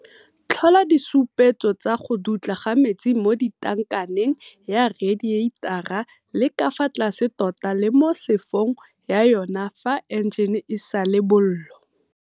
Tlhola disupetso tsa go dutla ga metsi mo tankaneng ya redieitara le ka fa tlase tota le mo sefong ya yona fa enjene e sa le bollo.